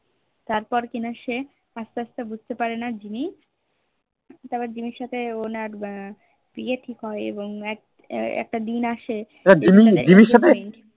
তারপর কিনা সে এসেট আস্তে বুঝতে পারেনা জিম্মি তার জিম্মির সাথে অন্য বিয়ে ঠিক হয়ে এবং একটা দিন আসে যে